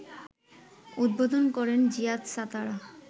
উদ্বোধন করেন জিয়াদ সাতারা